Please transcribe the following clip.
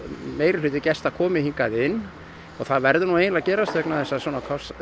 meirihluti gesta komi hingað inn og það verður eiginlega að gerast vegna þess að svona